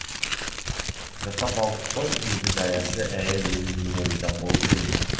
жаттап алдық қой деді даяшы әйел өз өзіне риза болып күліп